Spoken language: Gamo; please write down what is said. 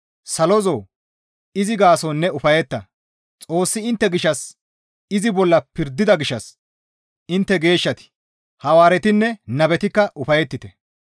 Salozoo! Izi gaason ne ufayetta; Xoossi intte gishshas izi bolla pirdida gishshas intte geeshshati, Hawaaretinne nabetikka ufayettite.